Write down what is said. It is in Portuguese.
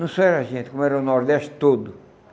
Não só era a gente, como era o Nordeste todo.